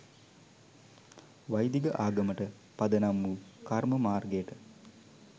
වෛදික ආගමට පදනම් වූ කර්ම මාර්ගයට